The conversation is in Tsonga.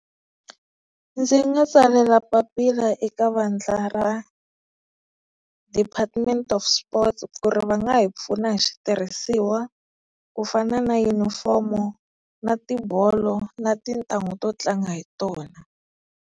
Ndzi nga tsalela papila eka vandla ra department of Sport ku ri va nga hi pfuna hi switirhisiwa ku fana na yunifomo na tibolo na tintanghu to tlanga hi tona.